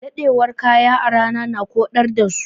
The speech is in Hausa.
Ɗadewar kaya a rana na koɗar da su.